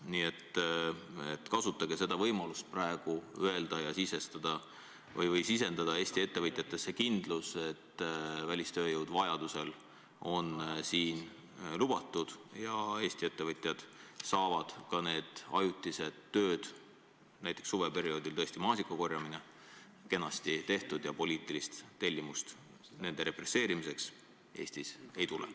Nii et kasutage võimalust seda praegu öelda ja sisendada Eesti ettevõtjatesse kindlus, et kui vaja, siis välistööjõudu võib kasutada ja Eesti ettevõtjad saavad ka ajutised tööd, näiteks suveperioodil maasikakorjamise kenasti tehtud ja poliitilist tellimust nende represseerimiseks Eestis ei tule.